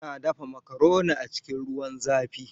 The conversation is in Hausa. Ana dafa makaroni a cikin ruwan zafi.